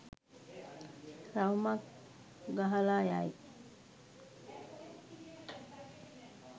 රවුමක් ගහලා යයි.